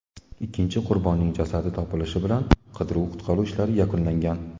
Ikkinchi qurbonning jasadi topilishi bilan qidiruv-qutqaruv ishlari yakunlangan.